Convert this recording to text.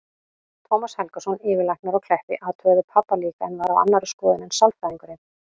Tómas Helgason, yfirlæknir á Kleppi, athugaði pabba líka en var á annarri skoðun en sálfræðingurinn.